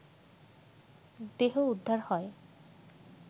দেহ উদ্ধার হয়